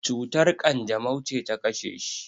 cutar kanjamau ce ta kashe shi?